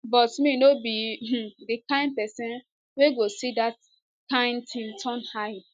but me no be um di kain pesin wey go see dat kain tin turn eye